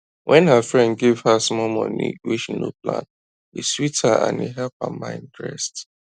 when her friend give her small money wey she no plan e sweet her and e help her mind rest